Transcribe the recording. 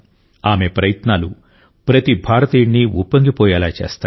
ఆమె ప్రయత్నాలు ప్రతి భారతీయుడిని ఉప్పొంగిపోయేలా చేస్తాయి